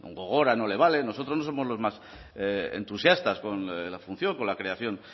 gogora no le vale nosotros no somos los más entusiastas con la función con la creación